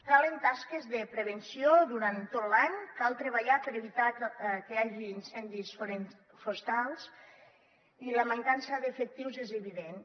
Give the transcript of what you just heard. calen tasques de prevenció durant tot l’any cal treballar per evitar que hi hagi incendis forestals i la mancança d’efectius és evidents